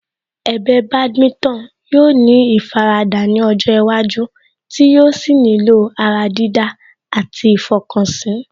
Ẹ̀bẹ̀ Badminton yóò ní ìfaradà ní ọjọ́ iwájú tí yóò sì nílò ará dídá àti ìfọkànsí